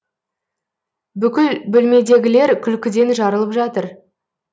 бүкіл бөлмедегілер күлкіден жарылып жатыр